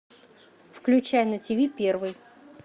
включай на тиви первый